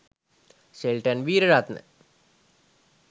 Shelton Weeraratne..